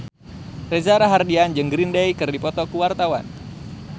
Reza Rahardian jeung Green Day keur dipoto ku wartawan